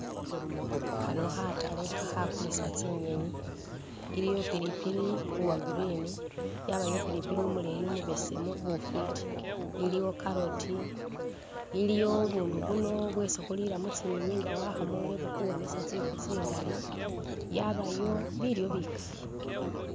Khano khatale khakulisa tsinyenyi iliwo pilipili uwa green yabawo pilipili umubesemu umuleyi bufiti iliwo carrot iliwo bundu buno bwesi khulila mutsinyiyi inga wakhamule bukhuwonesa tsifu tsingali yabayo bilyo bikali.